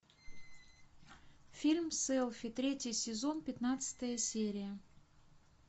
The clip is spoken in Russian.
фильм селфи третий сезон пятнадцатая серия